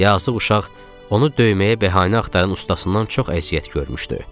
Yazıq uşaq onu döyməyə bəhanə axtaran ustasından çox əziyyət görmüşdü.